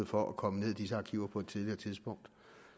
for at komme ned i disse arkiver på et tidligere tidspunkt